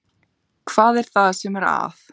Hvað er það sem er að?